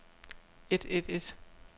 et et et